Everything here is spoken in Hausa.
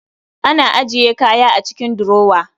Ana ajiye kaya a cikin durower